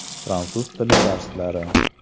Fransuz tili darslari.